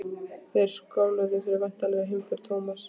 Þeir skáluðu fyrir væntanlegri heimför Thomas.